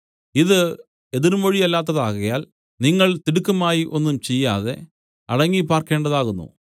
ഇത് എതിർമൊഴിയില്ലാത്തതാകയാൽ നിങ്ങൾ തിടുക്കമായി ഒന്നും ചെയ്യാതെ അടങ്ങിപ്പാർക്കേണ്ടതാകുന്നു